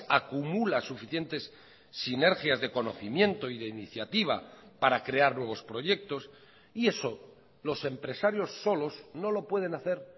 acumula suficientes sinergias de conocimiento y de iniciativa para crear nuevos proyectos y eso los empresarios solos no lo pueden hacer